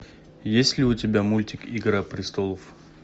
есть ли у тебя мультик игра престолов